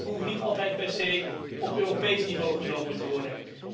Die stappen hoeven niet altijd per se op Europees niveau genomen te worden.